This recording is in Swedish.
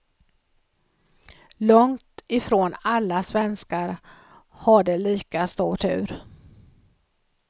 Långt ifrån alla svenskar hade lika stor tur.